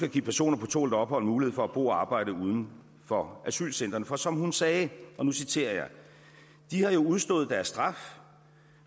at give personer på tålt ophold mulighed for at bo og arbejde uden for asylcentrene for som hun sagde og nu citerer jeg de har jo udstået deres straf